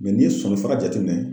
n'i ye sulusala jate minɛ